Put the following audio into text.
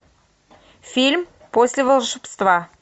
фильм после волшебства